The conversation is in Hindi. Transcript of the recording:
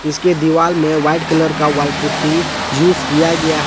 इसके दिवाल मे व्हाइट कलर का व्हाइट पुट्टी यूज किया गया है।